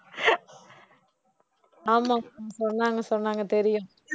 ஆமா சொன்னாங்க சொன்னாங்க தெரியும்